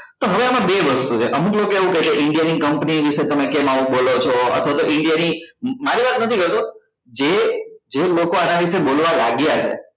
તો હવે આમાં બે વસ્તુ છે અમુક લોકો એવું કેસે કે india ની company વિશે તમે કેમ આવું બોલો છો અથવા તો india મારી વાત નથી કરતો જે જે લોકો આના વિશે બોલવા લાગ્યા છે